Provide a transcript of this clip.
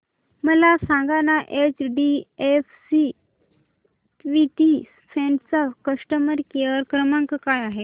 मला सांगाना HDFC equity fund चा कस्टमर केअर क्रमांक काय आहे